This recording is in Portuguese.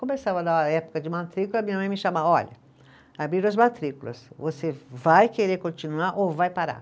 Começava na época de matrícula, minha mãe me chamava, olha, abriram as matrículas, você vai querer continuar ou vai parar?